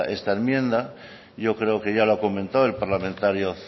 esta enmienda yo creo que ya lo comentó el parlamentario